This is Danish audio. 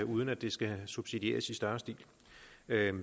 uden at det skal subsidieres i større stil